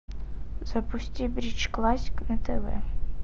запусти бридж классик на тв